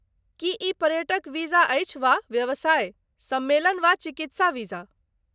की ई पर्यटक वीजा अछि वा व्यवसाय, सम्मेलन वा चिकित्सा वीजा?